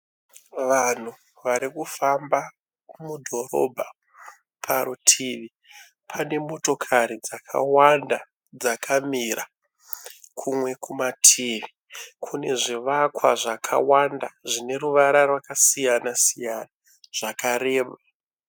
Vanhu varikufamba mudhorobha parutivi pane motokari dzakawanda dzakamira. Kumwe kumativi kune zvivakwa zvakawanda zvine ruvara rwakasiyana siyana zvakareba.